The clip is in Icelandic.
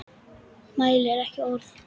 Mælir ekki orð.